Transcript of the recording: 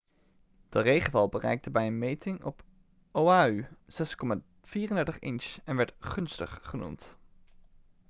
de regenval bereikte bij een meting op oahu 6,34 inch en werd gunstig' genoemd